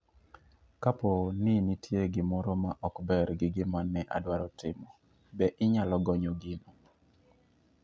Kapo ni nitie gimoro ma ok ber gi gima ne adwaro timo, be inyalo gonyo gino?